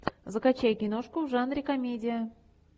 закачай киношку в жанре комедия